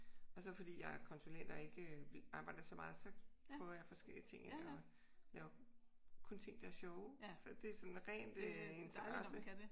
Og så fordi jeg er konsulent og ikke arbejder så meget så prøver jeg forskellige ting af og laver kun ting der er sjove. Så det er sådan rent interesse